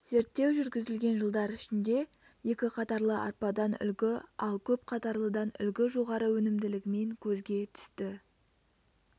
зерттеу жүргізілген жылдар ішінде екі қатарлы арпадан үлгі ал көп қатарлыдан үлгі жоғары өнімділігімен көзге түсті